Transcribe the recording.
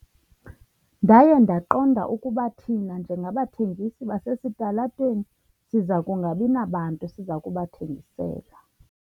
Ndaye ndaqonda ukuba thina njengabathengisi basesitalatweni siza kungabi nabantu siza kubathengisela.